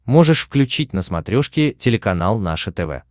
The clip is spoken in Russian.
можешь включить на смотрешке телеканал наше тв